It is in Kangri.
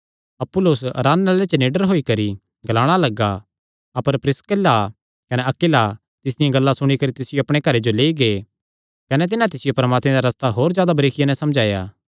अपुल्लोस आराधनालय च निडर होई करी ग्लाणा लग्गा अपर प्रिसकिल्ला कने अक्विला तिसदियां गल्लां सुणी करी तिसियो अपणे घरे जो लेई गै कने तिन्हां तिसियो परमात्मे दा रस्ता होर जादा बारिकिया नैं समझाया